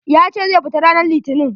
Ya ce zai fita ranan litinin.